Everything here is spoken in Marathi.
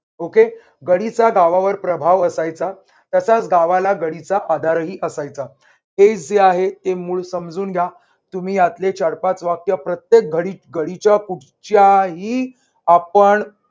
okay गडीचा गावावर प्रभाव असायचा, तसाच गावाला गडीचा आधारही असायचा. हे जे आहे ते मूळ समजून घ्या. तुम्ही यातले चार पाच वाक्य प्रत्येक घडीच्या कुठच्या ही आपण